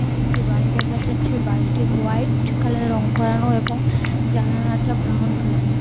এই একটি বাড়ি দেখা যাচ্ছে বাড়িতে হোয়াইট কালার রং করানো এবং জানালাটা ব্রাউন কালারের.